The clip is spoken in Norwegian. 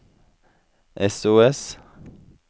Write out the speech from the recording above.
sos